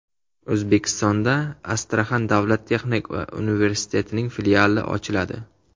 O‘zbekistonda Astraxan davlat texnika universitetining filiali ochiladi.